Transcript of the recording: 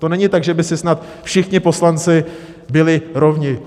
To není tak, že by si snad všichni poslanci byli rovni.